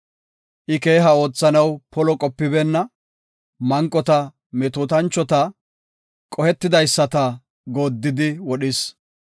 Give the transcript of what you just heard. I keeha oothanaw polo qopibeenna; manqota, metootanchota, qohetidaysata gooddidi wodhis.